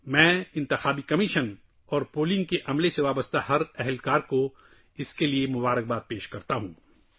میں اس کے لیے الیکشن کمیشن اور ووٹنگ کے عمل سے وابستہ سبھی متعلقہ افراد کو مبارکباد دیتا ہوں